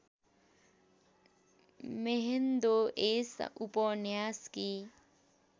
म्हेन्दो यस उपन्यासकी